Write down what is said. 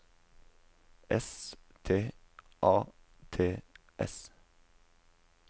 S T A T S